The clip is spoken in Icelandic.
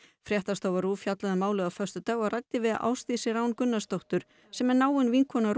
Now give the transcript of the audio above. fréttastofa RÚV fjallaði um málið á föstudag og ræddi við Ásdísi Rán Gunnarsdóttur sem er náin vinkona